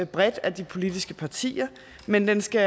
bredt af de politiske partier men den skal